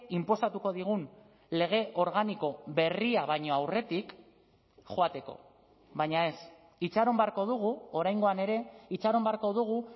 inposatuko digun lege organiko berria baino aurretik joateko baina ez itxaron beharko dugu oraingoan ere itxaron beharko dugu